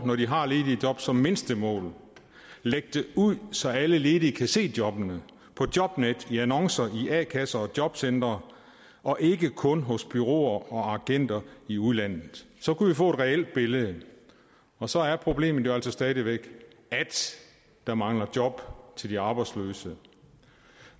når de har ledige job som mindstemål må lægge dem ud så alle ledige kan se jobbene på jobnet i annoncer i a kasser og jobcentre og ikke kun hos bureauer og agenter i udlandet så kunne vi få et reelt billede og så er problemet jo altså stadig væk at der mangler job til de arbejdsløse